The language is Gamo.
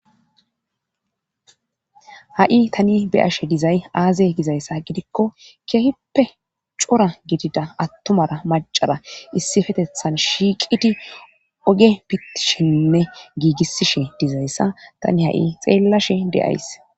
ha7i tani beyashe dizay aaze gizayssa gidikko keehippe cora gidida attumara macara issifetethan shiiqidi oge pitishinne giigisishe dizayssa tani ha7i xeellashe de7ays